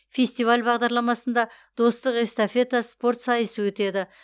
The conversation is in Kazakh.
фестиваль бағдарламасында достық эстафета спорт сайысы өтеді